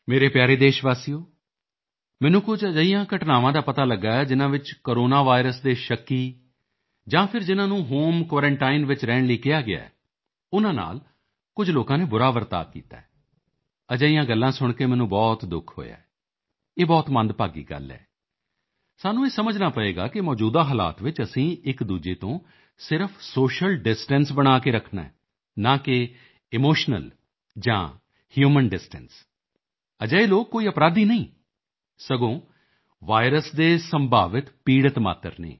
ਮੇਰੇ ਪਿਆਰੇ ਦੇਸ਼ਵਾਸੀਓ ਮੈਨੂੰ ਕੁਝ ਅਜਿਹੀਆਂ ਘਟਨਾਵਾਂ ਦਾ ਪਤਾ ਲੱਗਾ ਹੈ ਜਿਨ੍ਹਾਂ ਵਿੱਚ ਕੋਰੋਨਾ ਵਾਇਰਸ ਦੇ ਸ਼ੱਕੀ ਜਾਂ ਫਿਰ ਜਿਨ੍ਹਾਂ ਨੂੰ ਹੋਮ ਕੁਆਰੰਟਾਈਨ ਵਿੱਚ ਰਹਿਣ ਲਈ ਕਿਹਾ ਗਿਆ ਹੈ ਉਨ੍ਹਾਂ ਨਾਲ ਕੁਝ ਲੋਕਾਂ ਨੇ ਬੁਰਾ ਵਰਤਾਓ ਕੀਤਾ ਹੈ ਅਜਿਹੀਆਂ ਗੱਲਾਂ ਸੁਣ ਕੇ ਮੈਨੂੰ ਬਹੁਤ ਦੁੱਖ ਹੋਇਆ ਹੈ ਇਹ ਬਹੁਤ ਮੰਦਭਾਗੀ ਗੱਲ ਹੈ ਸਾਨੂੰ ਇਹ ਸਮਝਣਾ ਪਵੇਗਾ ਕਿ ਮੌਜੂਦਾ ਹਾਲਾਤ ਵਿੱਚ ਅਸੀਂ ਇੱਕਦੂਜੇ ਤੋਂ ਸਿਰਫ਼ ਸੋਸ਼ੀਅਲ ਡਿਸਟੈਂਸ ਬਣਾ ਕੇ ਰੱਖਣਾ ਹੈ ਨਾ ਕਿ ਇਮੋਸ਼ਨਲ ਜਾਂ ਹਿਊਮਨ ਡਿਸਟੈਂਸ ਅਜਿਹੇ ਲੋਕ ਕੋਈ ਅਪਰਾਧੀ ਨਹੀਂ ਹਨ ਸਗੋਂ ਵਾਇਰਸ ਦੇ ਸੰਭਾਵਿਤ ਪੀੜ੍ਹਿਤ ਮਾਤਰ ਹਨ